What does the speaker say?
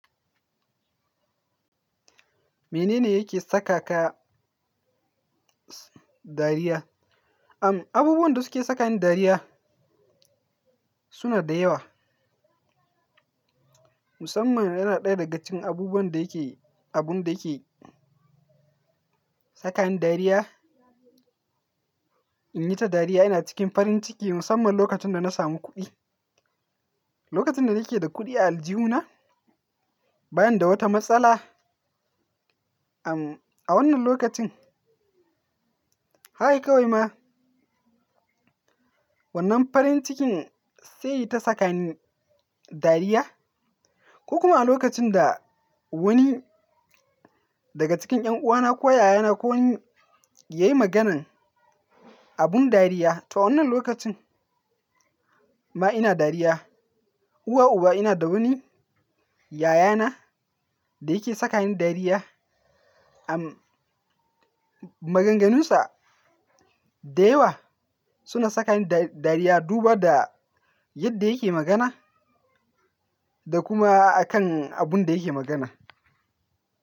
Mene ne yake sakaka dariya? Abubuwan da suke sakani dariya suna da yawa. Musamman yana ɗaya daga cikin abubuwan da yake, abun da yake sakani dariya. In yi ta dariya ina cikin farin ciki musamman lokacin da na samu kuɗi. Lokacin da nake da kuɗi a aljihu na bani da wata matsala, am, a wannan lokacin, haka kawai ma wannan farin cikin sai ta sakani dariya ko kuma a lokacin da wani daga cikin 'yan uwana ko yayana ko yayi maganan abun dariya, toh wannan lokacin ma ina dariya. Uwa uba ina da wani yayana da yake sakani dariya, am, maganganunsa da yawa suna sakani dariya duba da yadda yake magana da kuma akan abun da yake magana.